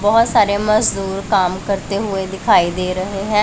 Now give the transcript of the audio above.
बहुत सारे मजदूर काम करते हुए दिखाई दे रहे हैं।